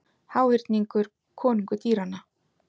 Háhyrningur konungur dýranna